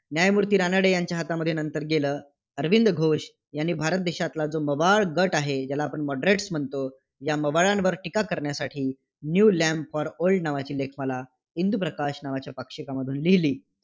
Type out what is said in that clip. न्यायमूर्ती रानडे यांच्या हातामध्ये नंतर गेलं. अरविंद घोष यांनी भारत देशातला जो मवाळ गट आहे, ज्याला आपण moderates म्हणतो, या मवाळांवर टीका करण्यासाठी न्यू लँप फॉर ओल्ड नावाची लेखमाला इंदूप्रकाश नावाच्या पाक्षिकामधून लिहिली.